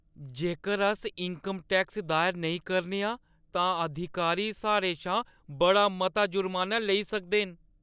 जेकर अस income tax दायर नेईं करने आं, तां अधिकारी साढ़े शा बड़ा मता ज़ुर्माना लेई सकदे न।